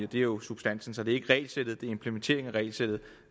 det er jo substansen så det er ikke regelsættet det er implementeringen af regelsættet